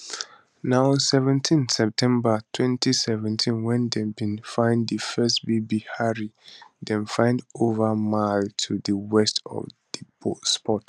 na on seventeenseptember 2017 wen dem bin find di first baby harry dem find over a mile to di west of di spot